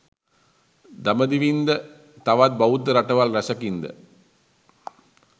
දඹදිවින් ද තවත් බෞද්ධ රටවල් රැසකින් ද